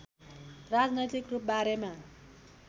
राजनैतिक रूप बारेमा